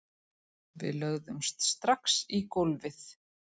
Við lögðumst strax í gólfið